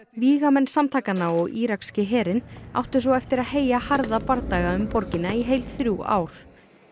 vígamenn samtakanna og írakski herinn áttu svo eftir að heyja harða bardaga um borgina í heil þrjú ár